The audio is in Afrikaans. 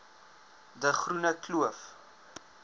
de groene kloof